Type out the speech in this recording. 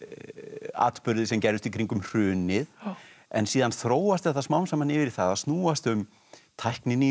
atburði sem gerðust í kringum hrunið en síðan þróast þetta smám saman yfir í það að snúast um tækninýjungar